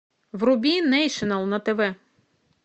вруби нейшнл на тв